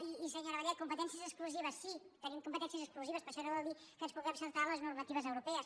i senyora vallet competències exclusives sí tenim competències exclusives però això no vol dir que ens puguem saltar les normatives europees